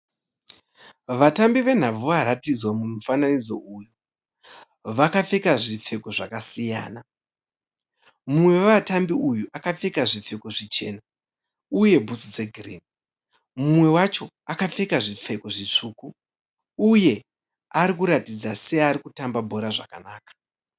Vatambi venhabvu varatidzwa mumufananidzo uyu vakapfeka zvipfeko zvakasiyana. Mumwe wevatambi uyu akapfeka zvipfeko zvichena uye bhutsu dzegirini. Mumwe wacho akapfeka zvipfeko zvitsvuku uye ari kuratidza seari kutamba bhora zvakanaka.